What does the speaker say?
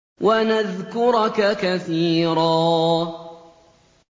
وَنَذْكُرَكَ كَثِيرًا